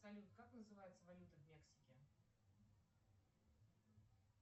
салют как называется валюта в мексике